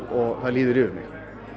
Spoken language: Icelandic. og það líður yfir mig